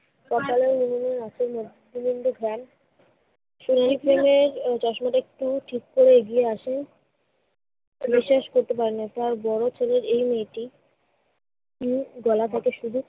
কপালে লিমনের নাকের মধ্যে silinder van নীল pen এর চশমাটা একটু ঠিক করে এগিয়ে আসে। বিশ্বাস করতে পারে না তার বড় ছেলের এই মেয়েটি গলা ঢাকা শুধু